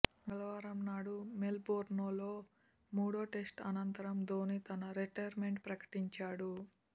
మంగళవారం నాడు మెల్బోర్న్లో మూడో టెస్టు అనంతరం ధోనీ తన రిటైర్మెంట్ ప్రకటించాడు